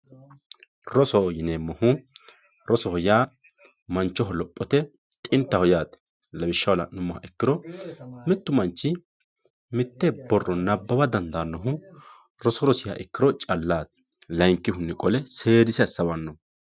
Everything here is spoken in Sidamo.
Rosoho yinemohu rosoho ya manchoho lopote xintaho yate lawishaho lanumiha ikiro mittu manchi mitte borro nabawa dandanohu roso rosiha ikiro callati layinkihuni qolle sedise asawano